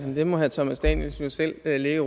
det må herre thomas danielsen jo selv ligge